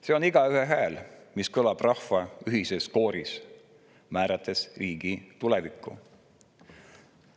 See on igaühe hääl, mis kõlab rahva ühises kooris, määrates riigi tulevikku.